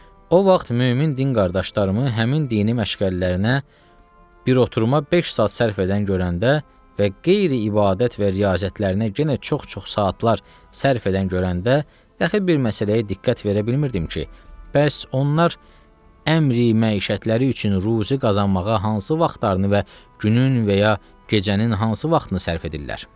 O vaxt mömin din qardaşlarımı həmin dini məşğələlərinə bir oturuma beş saat sərf edən görəndə və qeyri ibadət və riyazətlərinə yenə çox-çox saatlar sərf edən görəndə, dəxi bir məsələyə diqqət verə bilmirdim ki, bəs onlar əmri məişətləri üçün ruzi qazanmağa hansı vaxtlarını və günün və ya gecənin hansı vaxtını sərf edirlər.